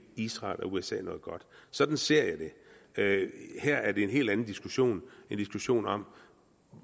israel eller usa noget godt sådan ser jeg det her er det en helt anden diskussion en diskussion om